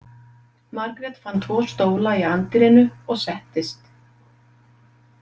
Margrét fann tvo stóla í anddyrinu og settist.